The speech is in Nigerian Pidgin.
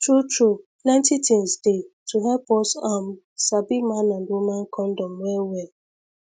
truetrue plentythings dey to help us um sabi man and woman condom wellwell